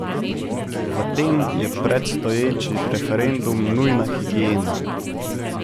V tem je predstoječi referendum nujna higiena.